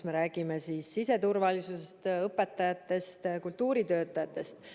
Me räägime siseturvalisusest, õpetajatest, kultuuritöötajatest.